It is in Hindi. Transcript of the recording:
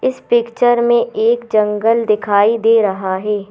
इस पिक्चर में एक जंगल दिखाई दे रहा है।